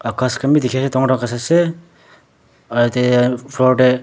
ghas khan bi dekhi ase dangor dangor ghas ase aru yate floor tey--